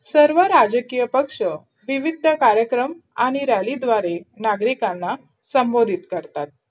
सर्व राजकीय पक्ष विविध कार्यक्रम आणि rally द्वारे नागरिकांना संबोधित करतात.